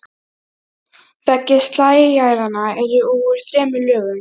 Æ, Rúna sagði Þorsteinn önuglega og gekk þungstígur sömu leið.